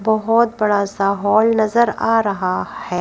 बहोत बड़ा सा हॉल नजर आ रहा है।